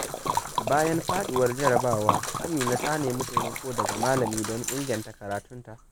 Bayan faduwar jarrabawa, Amina ta nemi taimako daga malami don inganta karatunta.